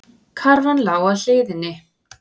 Karfan lá á hliðinni.